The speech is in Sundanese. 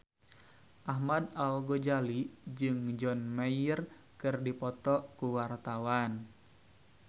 Ahmad Al-Ghazali jeung John Mayer keur dipoto ku wartawan